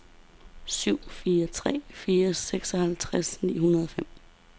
syv fire tre fire seksoghalvtreds ni hundrede og fem